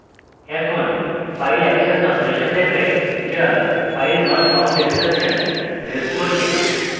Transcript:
এখন file access operation দেখাই যা filenotfoundexception রেজ করবে